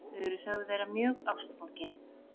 Þau eru sögð vera mjög ástfangin